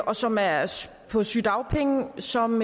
og som er på sygedagpenge som